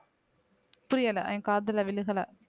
புரியல என் காதுல விழுகல